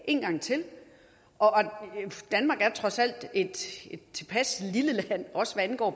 en gang til danmark er trods alt et tilpas lille land også hvad angår